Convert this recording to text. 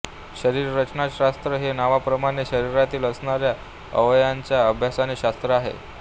शरीररचनाशास्त्र हे नावाप्रमाणे शरीरातील असणाऱ्या अवयवांच्या अभ्यासाचे शास्त्र आहे